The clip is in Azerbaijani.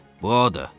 Bu odur!